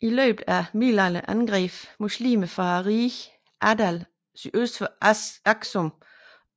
I løbet af middelalderen angreb muslimer fra riget Adal sydøst for Aksum